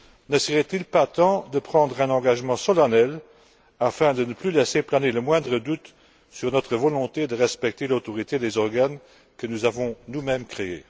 Ne serait il pas temps de prendre un engagement solennel afin de ne plus laisser planer le moindre doute sur notre volonté de respecter l'autorité des organes que nous avons nous mêmes créés?